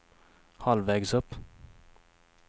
halvvägs upp